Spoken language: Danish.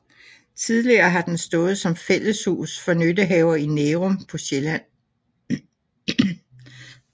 Tidligere har den stået som fælleshus for nyttehaver i Nærum på Sjælland